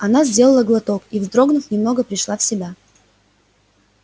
она сделала глоток и вздрогнув немного пришла в себя